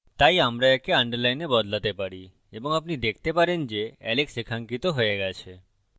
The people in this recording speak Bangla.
তাই আমরা একে underline বদলাতে পারি এবং আপনি দেখতে পারেন যে alex রেখাঙ্কিত হয়ে গেছে